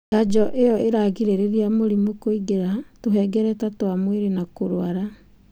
Njanjo ĩyo ĩragirĩrĩria mũrimũ kũingĩra tũhengereta twa mwĩrĩ na kũrwara.